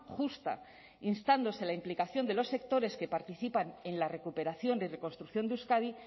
justa instándose a la implicación de los sectores que participan en la recuperación y reconstrucción de euskadi